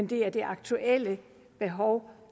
det er det aktuelle behov